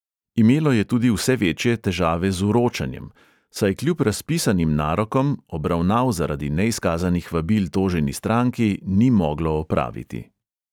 Imelo je tudi vse večje težave z vročanjem, saj kljub razpisanim narokom obravnav zaradi neizkazanih vabil toženi stranki ni moglo opraviti.